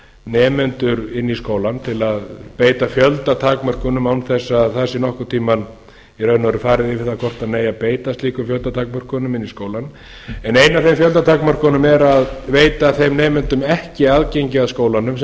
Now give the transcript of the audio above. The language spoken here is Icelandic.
nemendur inn í skólann til að beita fjöldatakmörkunum án þess að það sé nokkurn tíma í raun og veru farið í það hvort hann eigi að beita slíkum fjöldatakmörkunum inn í skólann ein af þeim fjöldatakmörkunum er að veita þeim nemendum ekki aðgengi að skólanum